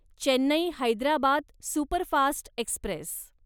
Chennai Hyderabad superfast Express